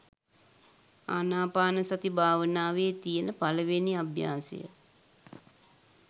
ආනාපානසති භාවනාවේ තියෙන පළවෙනි අභ්‍යාසය.